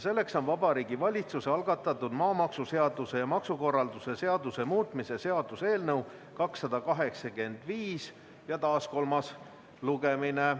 See on Vabariigi Valitsuse algatatud maamaksuseaduse ja maksukorralduse seaduse muutmise seaduse eelnõu 285, taas kolmas lugemine.